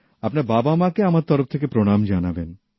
আপনার বাবামাকে আমার তরফ থেকে প্রণাম জানাবেন